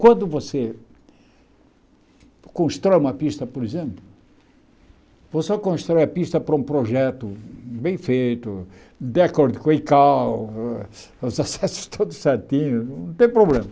Quando você constrói uma pista, por exemplo, você constrói a pista para um projeto bem feito, de acordo com o Icao, os acessos todos certinhos, não tem problema.